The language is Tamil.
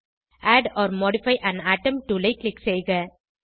add or modify an atom tool ஐ க்ளிக் செய்க